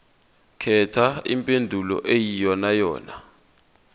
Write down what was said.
khetha impendulo eyiyonayona